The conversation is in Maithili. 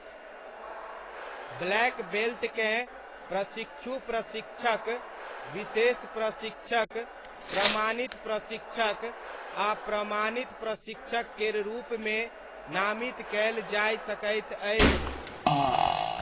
ब्लैक बेल्टकेँ प्रशिक्षु प्रशिक्षक, विशेष प्रशिक्षक, प्रमाणित प्रशिक्षक आ प्रमाणित प्रशिक्षक केर रूपमे नामित कयल जाय सकैत अछि।